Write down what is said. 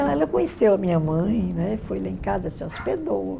E ela conheceu a minha mãe, né, foi lá em casa, se hospedou.